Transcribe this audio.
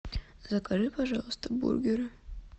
закажи пожалуйста бургеры